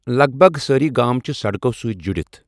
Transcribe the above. لگ بگ سٲری گام چھِ سڑکو سۭتۍ جُڑِتھ ۔